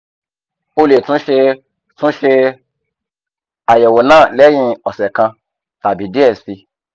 o le tun ṣe tun ṣe ayẹwo naa lẹhin ọsẹ kan tabi diẹ sii